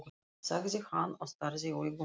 sagði hann og starði í augun á henni.